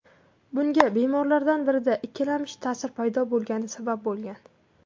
Bunga bemorlardan birida ikkilamchi ta’sir paydo bo‘lgani sabab bo‘lgan.